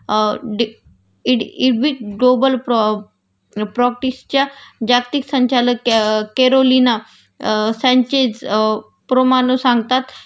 अ डी इडी इविड ग्लोबल प्रॉप अ प्रॉपर्टीसच्या जागतिक संचालक केरोलिना संचेस प्रोमानु सांगतात